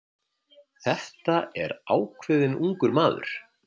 Þetta er ákveðinn ungur maður